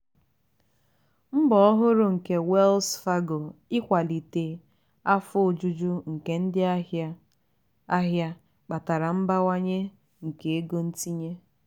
mbọ ọhụrụ nke wells fargo ikwalite afọ ojuju nke ndị ahịa ahịa kpatara mbawanye nke ego ntinye.